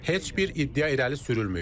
Heç bir iddia irəli sürülməyib.